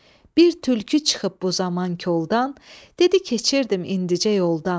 Bir tülkü çıxıb bu zaman koldan, dedi keçirdim indicə yoldan.